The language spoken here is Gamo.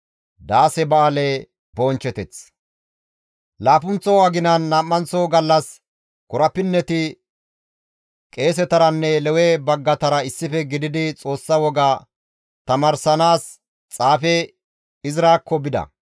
Laappunththo aginan nam7anththo gallas korapinneti qeesetaranne Lewe baggatara issife gididi Xoossa woga tamaaranaas xaafe Izrakko bida.